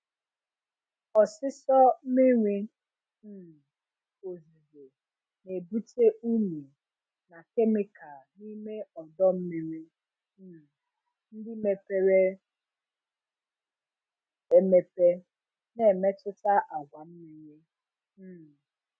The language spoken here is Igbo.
Ọsịsọ miri um ozuzo na-ebute unyi na kemịkal n'ime ọdọ mmiri um ndị mepere emepe, na-emetụta àgwà mmiri. um